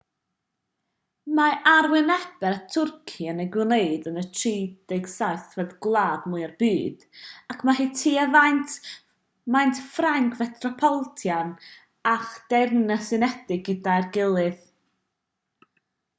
mae arwynebedd twrci yn ei gwneud yn 37fed gwlad mwya'r byd ac mae hi tua maint ffrainc fetropolitan a'r deyrnas unedig gyda'i gilydd